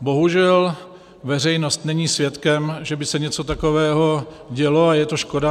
Bohužel veřejnost není svědkem, že by se něco takového dělo, a je to škoda.